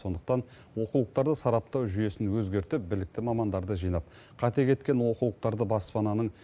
сондықтан оқулықтарды сараптау жүйесін өзгертіп білікті мамандарды жинап қате кеткен оқулықтарды баспананың